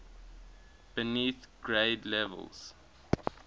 beneath grade levels